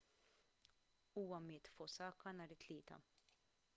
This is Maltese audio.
huwa miet f'osaka nhar it-tlieta